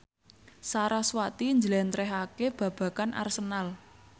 sarasvati njlentrehake babagan Arsenal